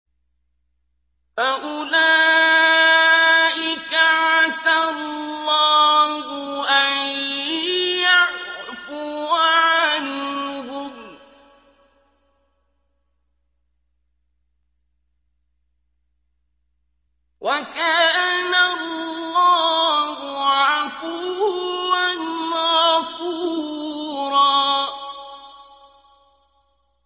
فَأُولَٰئِكَ عَسَى اللَّهُ أَن يَعْفُوَ عَنْهُمْ ۚ وَكَانَ اللَّهُ عَفُوًّا غَفُورًا